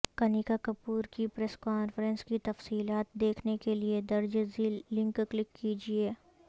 کنیکا کپور کی press conference کی تفیصلات دیکھنے کے لئے درج ذیل لنک کلک کیجئے